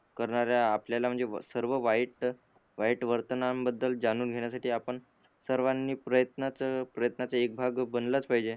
करणाऱ्या आपल्याला म्हणजे सर्व वाईट वर्तमान बद्दल जाणून घेण्यासाठी आपण सर्वांनी प्रयत्न प्रयत्नाचा एक भाग बनलाच पाहिजे